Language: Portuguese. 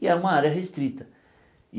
E é uma área restrita.